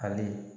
Hali